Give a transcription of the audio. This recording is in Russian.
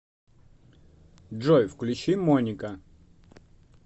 джой включи моника